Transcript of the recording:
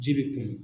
Ji bɛ kun